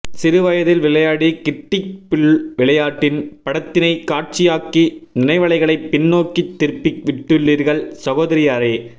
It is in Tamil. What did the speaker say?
சிறு வயதில் விளையாடி கிட்டிப் புல் விளையாட்டின் படத்தினை காட்சியாக்கி நினைவலைகளை பின்னோக்கித் திருப்பி விட்டுள்ளீர்கள் சகோதரியாரே